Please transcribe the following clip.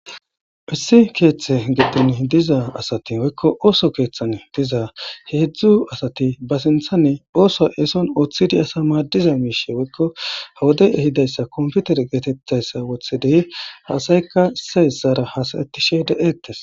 Issi keetha gidon diza asati woyko ooso keethan diza heedzu asati, ootho eeson ooththidi wursanas maadiza wodey ehida compitere geetetizaysa wothidi,ha asatika issay issara haasa'etishe de'etees.